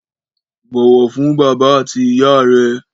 Bọ̀wọ̀ fún bàbá àti ìyá rẹ